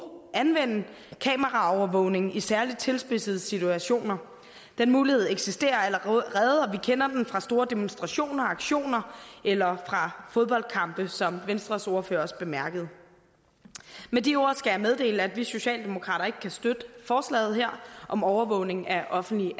anvende kameraovervågning i særligt tilspidsede situationer den mulighed eksisterer allerede og vi kender den fra store demonstrationer og aktioner eller fra fodboldkampe som venstres ordfører også bemærkede med de ord skal jeg meddele at vi socialdemokrater ikke kan støtte forslaget her om overvågning af offentligt